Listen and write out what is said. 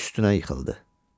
üstünə yıxıldı.